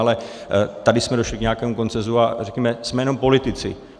Ale tady jsme došli k nějakému konsenzu, a řekněme, jsme jenom politici.